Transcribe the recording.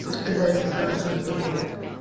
тут когда я сказала что я здорова